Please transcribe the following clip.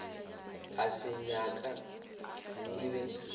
a se nyaka e be